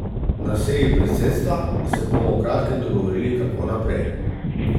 Na seji predsedstva se bomo v kratkem dogovorili, kako naprej.